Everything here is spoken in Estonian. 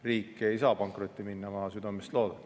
Riik ei saa pankrotti minna, ma südamest loodan.